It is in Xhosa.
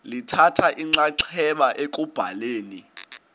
lithatha inxaxheba ekubhaleni